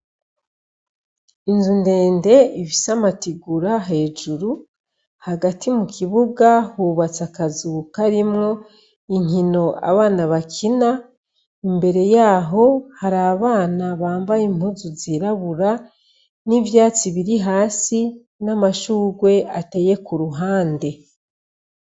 Inzu ndende ibisamatigura hejuru hagati mu kibuga hubatsa akazuka arimwo inkino abana bakina imbere yaho hari abana bambaye impuzu zirabura n'ivyatsi biri hasi n'amashurwe ateye ku ruhande.